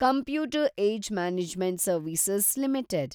computer age management service limited